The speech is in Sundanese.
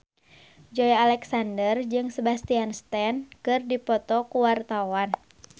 Joey Alexander jeung Sebastian Stan keur dipoto ku wartawan